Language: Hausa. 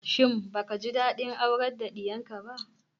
Shin baka ji daɗin aurar da diyarka ba?